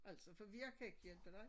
Altså for jeg kan ikke hjælpe dig